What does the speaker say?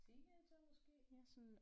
Teenager måske